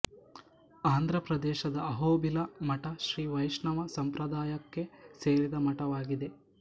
ಆಂಧ್ರಪ್ರದೇಶದ ಅಹೋಬಿಲ ಮಠ ಶ್ರೀ ವೈಷ್ಣವ ಸಂಪ್ರದಾಯಕ್ಕೆ ಸೇರಿದ ಮಠವಾಗಿದೆ